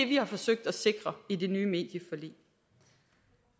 vi har forsøgt at sikre i det nye medieforlig